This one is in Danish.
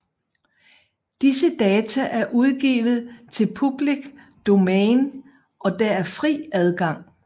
Disse data er udgivet til public domain og der er fri adgang